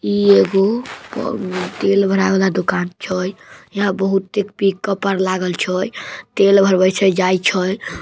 इ एगो प तेल भरा वाला दुकान छोए यहाँ बहुते पिक-उप पर लागल छोए तेल भरवई छई जाई छोए ।